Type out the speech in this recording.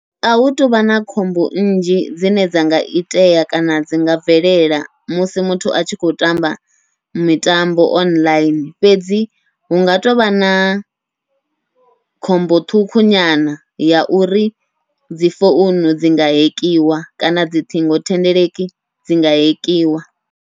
Ahu tuvha na khombo nnzhi dzine dza nga itea kana dzi nga bvelela musi muthu a tshi khou tamba mitambo online, fhedzi hunga tovha na khombo ṱhukhu nyana ya uri dzi founu dzi nga hekiwa kana dzi ṱhingothendeleki dzi nga hekiwa.